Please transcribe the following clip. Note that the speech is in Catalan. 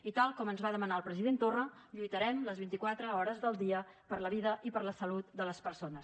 i tal com ens va demanar el president torra lluitarem les vint i quatre hores del dia per la vida i per la salut de les persones